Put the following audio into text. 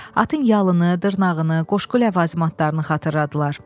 Atın yalını, dırnağını, qoşqu ləvazimatlarını xatırladılar.